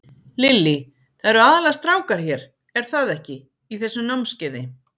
Lillý: Það eru aðallega strákar hér, er það ekki, í þessu námskeiði?